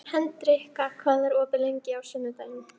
Hendrikka, hvað er opið lengi á sunnudaginn?